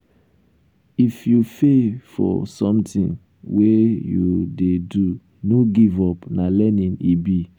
if you fail for something wey you dey do no give up na learning e be.